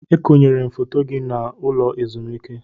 E konyere m foto gị n'ụlọ ezumike.